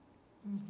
Uhum.